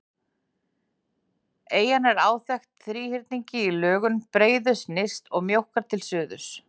Eyjan er áþekk þríhyrningi í lögun, breiðust nyrst og mjókkar til suðurs.